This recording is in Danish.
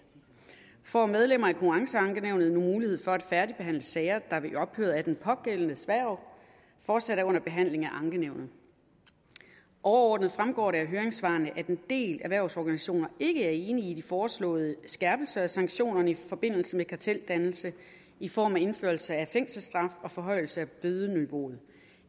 får medlemmer af konkurrenceankenævnet nu mulighed for at færdigbehandle sager der ved ophøret af den pågældendes hverv fortsat er under behandling af ankenævnet overordnet fremgår det af høringssvarene at en del erhvervsorganisationer ikke er enige i de foreslåede skærpelser af sanktionerne i forbindelse med karteldannelse i form af indførelse af fængselsstraf og forhøjelse af bødeniveauet